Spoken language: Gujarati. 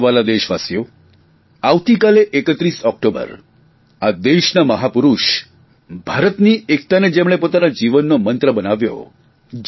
મારા વ્હાલા દેશવાસીઓ આવતીકાલે 31 ઓકટોબર આ દેશના મહાપુરૂષ ભારતની એકતાને જ જેમણે પોતાના જીવનનો મંત્ર બનાવ્યો